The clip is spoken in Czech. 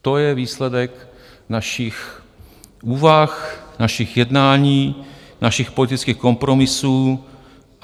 To je výsledek našich úvah, našich jednání, našich politických kompromisů.